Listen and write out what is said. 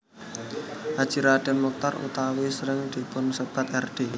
Haji Raden Mochtar utawi asring dipunsèbat Rd